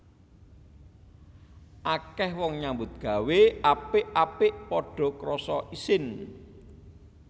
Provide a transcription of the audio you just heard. Akeh wong nyambut gawé apik apik padha krasa isin